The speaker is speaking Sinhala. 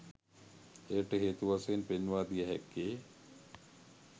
එයට හේතු වශයෙන් පෙන්වා දිය හැක්කේ